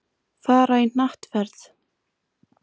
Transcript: Fara í hnattferð.